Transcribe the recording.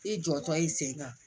I jɔtɔ i sen kan